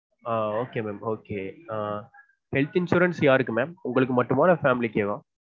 ஆஹ் okay mam okay health insurance யாருக்கு mam உங்களுக்கு மட்டுமா இல்ல family க்கே வா?